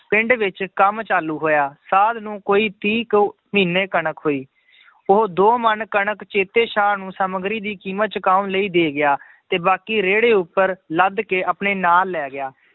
ਪਿੰਡ ਵਿੱਚ ਕੰਮ ਚਾਲੂ ਹੋਇਆ, ਸਾਧ ਨੂੰ ਕੋਈ ਤੀਹ ਕੁ ਮਹੀਨੇ ਕਣਕ ਹੋਈ ਉਹ ਦੋ ਮਣ ਕਣਕ ਚੇਤੇ ਸਾਹ ਨੂੰ ਸਾਮੱਗਰੀ ਦੀ ਕੀਮਤ ਚੁਕਾਉਣ ਲਈ ਦੇ ਗਿਆ, ਤੇ ਬਾਕੀ ਰੇੜੇ ਉੱਪਰ ਲੱਦ ਕੇ ਆਪਣੇ ਨਾਲ ਲੈ ਗਿਆ,